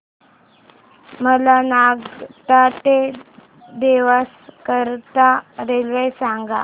मला नागदा ते देवास करीता रेल्वे सांगा